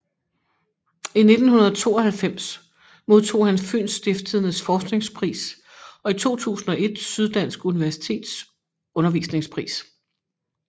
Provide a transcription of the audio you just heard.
I 1992 modtog han Fyens Stiftstidendes forskningspris og i 2001 Syddansk Universitets undervisningspris